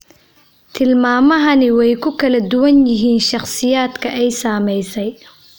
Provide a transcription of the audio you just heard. Tilmaamahani way ku kala duwan yihiin shakhsiyaadka ay saamaysay.